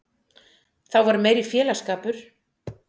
Þá var meiri félagsskapur.